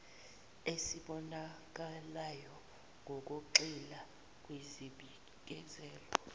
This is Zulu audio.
esibonakalayo ngokugxila kwizibikezelo